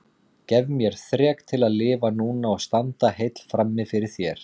Gef mér þrek til að lifa núna og standa heill frammi fyrir þér.